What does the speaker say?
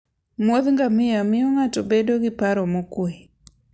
muodh ngamia miyo ng'ato bedo gi paro mokwe.